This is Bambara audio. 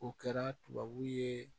O kɛra tubabu ye